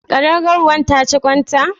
Ƙadangaruwar ta ci ƙwan ta?